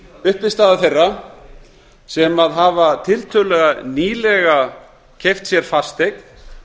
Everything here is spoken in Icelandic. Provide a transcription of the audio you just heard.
uppistaða þeirra sem hafa tiltölulega nýlega keypt sér fasteign